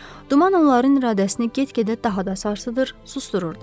Duman onların iradəsini get-gedə daha da sarsıdır, susdururdu.